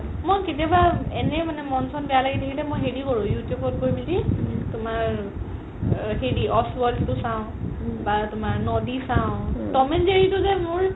মই কেতিয়াবা এনে মানে মন চন বেয়া লাগি থাকিলে মই হেৰি কৰো you tube গৈ মিলি তুমাৰ আ world তো চাও বা তুমাৰ নদি চাও ত'ম and জেৰি যে মোৰ